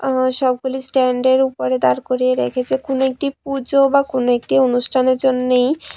আবার সবগুলি স্ট্যান্ড এর ওপরে দাঁড় করিয়ে রেখেছে কোনও একটি পুজো বা কোনও একটি অনুষ্ঠানের জন্যেই।